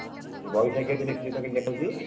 ଆଉ ବୈଶାଖି ଏଠି ଦେଖିଲୁ ତ କେମିତି ଦେଖା ହଉଛି?